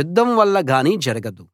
యుద్ధం వల్ల గానీ జరగదు